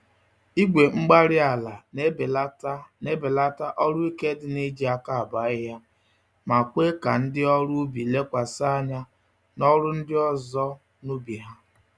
Igwe-mgbárí-ala na-ebelata n'ebelata ọrụ ike dị n'iji àkà abọ ahịhịa, ma kwe ka ndị ọrụ ubi lekwasị anya n'ọrụ ndị ọzọ, n'ubi ha.